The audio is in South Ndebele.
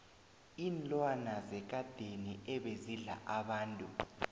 iinlwana zekadeni ebezidla abantu